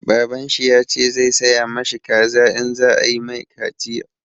Baban shi ya ce zai saya ma shi kaza in za a yi mai kaciya.